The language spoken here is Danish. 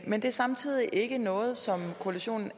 men det er samtidig ikke noget som koalitionen